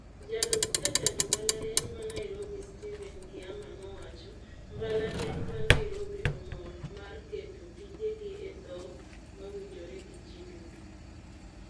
Jalup jatend mbalariany ma Nairobi Stephen Kiama nowacho, "Mbalariany ma Nairobi omor mar keto tije gi e dhok mawinjore gi jii duto.